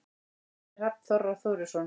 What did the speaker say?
eftir hrafn þorra þórisson